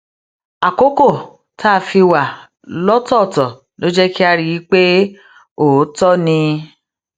àkókò tá a fi wà lọ́tọ̀ọ̀tọ̀ ló jé ká rí i pé òótọ́ ni